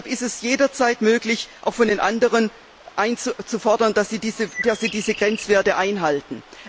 Deshalb ist es jederzeit möglich, auch von den anderen einzufordern, dass sie diese Grenzwerte einhalten.